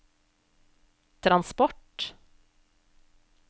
transport